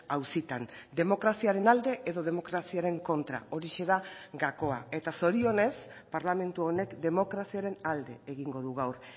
auzitan demokraziaren alde edo demokraziaren kontra horixe da gakoa eta zorionez parlamentu honek demokraziaren alde egingo du gaur